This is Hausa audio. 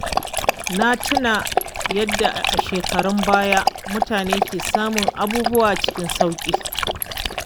Na tuna yadda a shekarun baya mutane ke samun abubuwa cikin sauƙi.